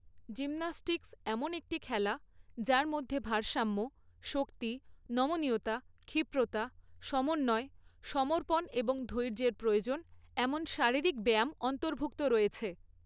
Gymnastics এমন একটি খেলা যার মধ্যে ভারসাম্য, শক্তি, নমনীয়তা, ক্ষিপ্রতা, সমন্বয়, সমর্পণ এবং ধৈর্যের প্রয়োজন এমন শারীরিক ব্যায়াম অন্তর্ভুক্ত রয়েছে।